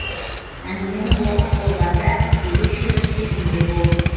әңгімені оқып болғанда ерекше бір сезімде болдым